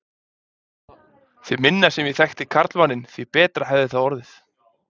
Því minna sem ég þekkti karlmanninn, því betra hefði það orðið.